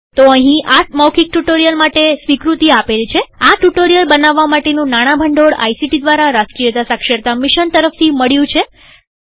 તો અહીં આ મૌખિક ટ્યુ્ટોરીઅલ માટે સ્વીકૃતિ આપેલ છેઆ ટ્યુ્ટોરીઅલ બનાવવા માટેનું નાણાં ભંડોળ આઇસીટી દ્વારા રાષ્ટ્રીય સાક્ષરતા મિશન તરફથી મળ્યું છે